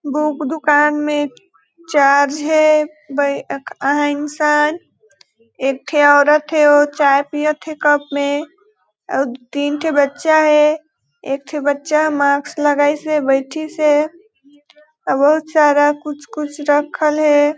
Book दुकान में चार्ज हे बै क अ हइ इंसान एक ठे औरत थे ओ चाय पियत कप में अउ तीन ठे बच्चा हे एक ठे बच्चा मास्क लगाईस हे बैठईस हे बहोत सारा कुछ कुछ रखाये हे।